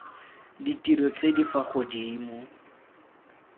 ditiro tse di fa godimo